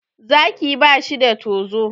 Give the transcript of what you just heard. Zaki ba shi da tozo.